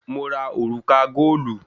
Mo ra òrùka góòlù